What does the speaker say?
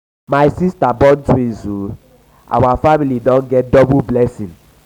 my siata um born twins o our um family don get double blessing.